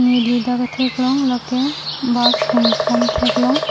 neli dak kethek long la ke bus hum thom thek long.